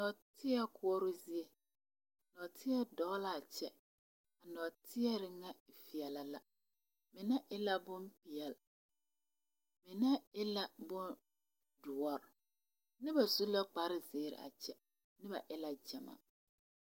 Nɔɔtie koɔroo zie tɔɔtie dɔɔ la a kyɛ a tɔɔtie ŋa veɛlɛ la mine la bompeɛle mine e bondoɔre noba su la kpar zeere a kyɛ noba e la gyamaa